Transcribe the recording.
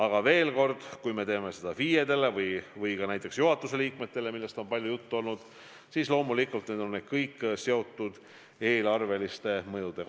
Aga veel kord, kui me teeme seda FIE-dele või ka näiteks juhatuse liikmetele, millest on palju juttu olnud, siis loomulikult need on kõik seotud eelarveliste mõjudega.